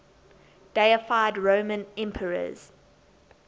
deified roman emperors